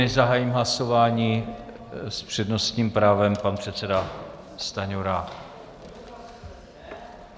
Než zahájím hlasování, s přednostním právem pan předseda Stanjura.